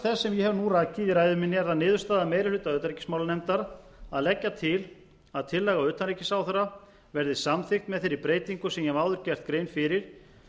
þess sem ég hef nú rakið í ræðu minni er það niðurstaða meiri hluta utanríkismálanefndar að leggja til að tillaga utanríkisráðherra verði samþykkt með þeirri breytingu sem ég hef áður gert grein fyrir